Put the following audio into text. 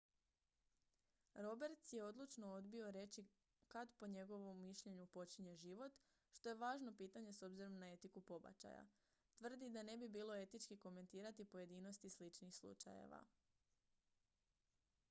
roberts je odlučno odbio reći kad po njegovu mišljenju počinje život što je važno pitanje s obzirom na etiku pobačaja tvrdi da ne bi bilo etički komentirati pojedinosti sličnih slučajeva